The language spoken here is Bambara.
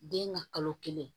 Den ka kalo kelen